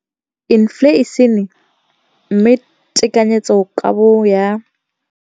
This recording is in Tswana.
Infleišene, mme tekanyetsokabo ya 2017, 18, e magareng ga R6.4 bilione.